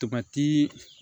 Tobati